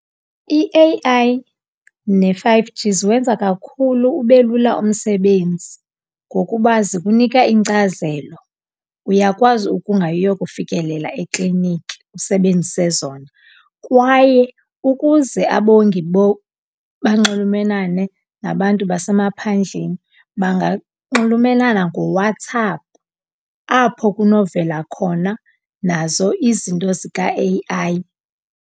I-A_I ne-five G ziwenza kakhulu ube lula umsebenzi ngokuba zikunika iinkcazelo. Uyakwazi ukungayi uyokufikelela ekliniki usebenzise zona kwaye ukuze abongi banxulumenane nabantu basemaphandleni, banganxulumenana ngoWhatsApp apho kunovela khona nazo izinto zika-A_I.